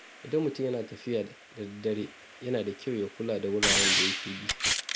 Idan mutum yana tafiya da daddare, yana da kyau ya kula da wuraren da yake bi.